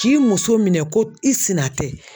K'i muso minɛn ko i sina tɛ.